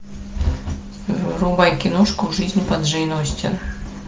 врубай киношку жизнь по джейн остин